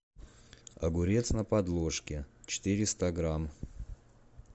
огурец на подложке четыреста грамм